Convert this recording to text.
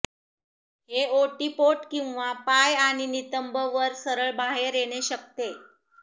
हे ओटीपोट किंवा पाय आणि नितंब वर सरळ बाहेर येणे शकते